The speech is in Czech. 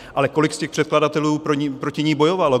Ale kolik z těch předkladatelů proti ní bojovalo?